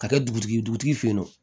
Ka kɛ dugutigi ye dugutigi fe yen nɔ